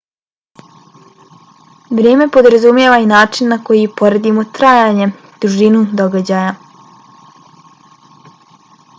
vrijeme podrazumijeva i način na koji poredimo trajanje dužinu događaja